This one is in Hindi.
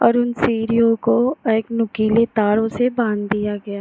और उन सीढिय़ों को एक नुकीली तारों से बांध दिया गया है।